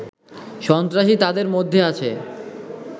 সন্ত্রাসী তাদের মধ্যে আছে